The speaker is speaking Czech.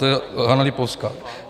To je Hana Lipovská.